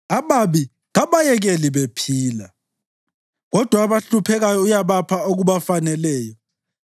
Ababi kabayekeli bephila kodwa abahluphekayo uyabapha okubafaneleyo.